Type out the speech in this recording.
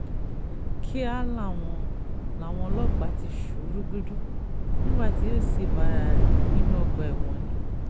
kíá làwọn làwọn ọlọ́pàá ti sú u rúgúdù nígbà tí yóò sì bá ara rẹ̀ nínú ọgbà ẹ̀wọ̀n ni